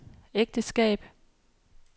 ægteskab